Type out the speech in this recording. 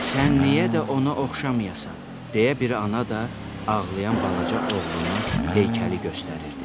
Sən niyə də ona oxşamayasan, deyə bir ana da ağlayan balaca oğluna heykəli göstərirdi.